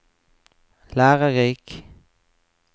lærerik